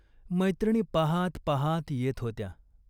मैत्रिणी पाहात पाहात येत होत्या.